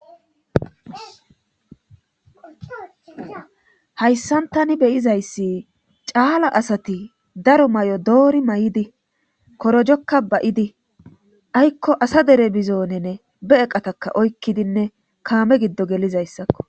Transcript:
hayssan tani beyizayssi caala asati daro may7o doori may7idi korojokka ba7idi aykko asa dere bizoonenne be eqataka oykkidinne kaame giddo gelizayssakko